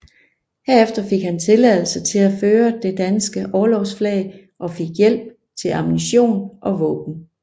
Herefter fik han tilladelse til at føre det danske orlogsflag og fik hjælp til ammunition og våben